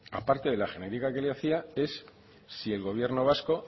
aparte de la genérica que le hacía es si el gobierno vasco